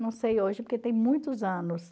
Não sei hoje, porque tem muitos anos.